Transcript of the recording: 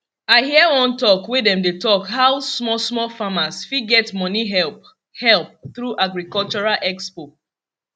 i hear one talk wey dem dey talk how smallsmall farmers fit get money help help through agricultural expo